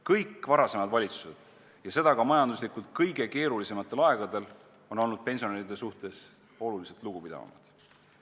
Kõik varasemad valitsused – ja seda ka majanduslikult kõige keerulisematel aegadel – on olnud pensionäride suhtes oluliselt lugupidavamad.